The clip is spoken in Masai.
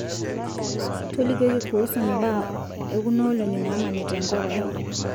tolikioki kuhusu imbaa ekunoolong'I naamanita enakop ai